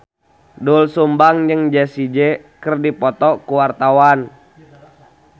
Doel Sumbang jeung Jessie J keur dipoto ku wartawan